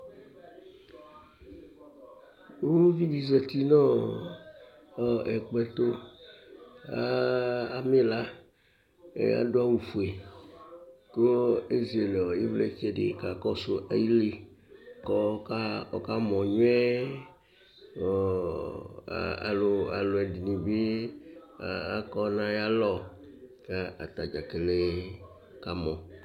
Ʋlʋvi zɛti nʋ ɛkplɔ tu, amɛ ila kʋ adu awu fʋe kʋ ezele ivlitsɛ di kakɔsu ayìlí kʋ ɔka mɔ nyʋɛ Alʋɛdìní bi akɔ nʋ ayʋ alɔ kʋ atadza kele kamɔ